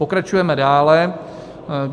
Pokračujeme dále.